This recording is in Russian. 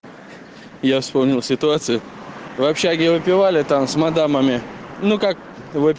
я вспомнил ситуацию в общаге выпивали там с модемами ну как